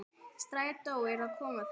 Strætó er að koma þarna!